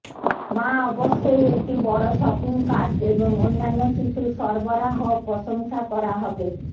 মা অবশ্যই একটি বড় শপিং কার্ট এবং অন্যান্য শিশুর সরবরাহ প্রশংসা করা হবে